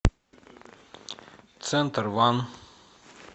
центр ванн